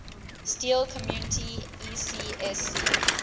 steel community ecsc